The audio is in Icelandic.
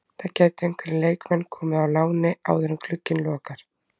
Það gætu einhverjir leikmenn komið á láni áður en glugginn lokar.